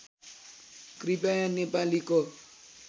कृपया नेपालीको